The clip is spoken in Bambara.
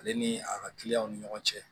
Ale ni a ka kiliyanw ni ɲɔgɔn cɛ